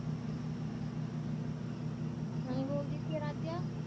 ਆਈ ਬੋਲਦੀ ਸੀ ਰਾਜਾ